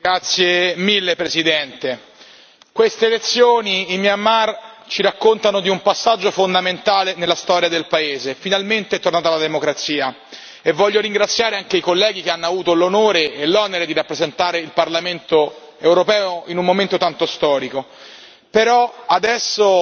Signor Presidente, onorevoli colleghi, queste elezioni in Myanmar ci raccontano di un passaggio fondamentale nella storia del Paese finalmente è tornata la democrazia. Voglio ringraziare anche i colleghi che hanno avuto l'onore e l'onere di rappresentare il Parlamento europeo in un momento tanto storico. Però adesso